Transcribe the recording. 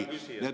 Hea küsija!